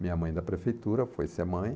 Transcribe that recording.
Minha mãe da prefeitura foi ser mãe.